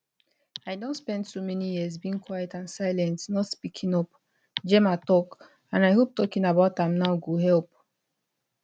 i don spend so many years being quiet and silent not speaking up gemma tok and i hope talking about am now go help